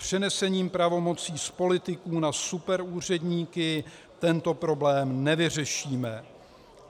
Přenesením pravomocí z politiků na superúředníky tento problém nevyřešíme.